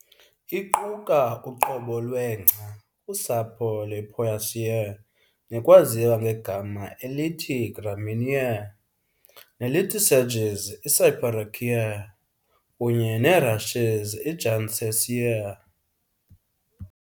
Iquka uqobo lwengca, kusapho lwePoaceae nekwaziwa ngegama elithi Gramineae, nelithi sedges, iCyperaceae, kunye nerushes iJuncaceae.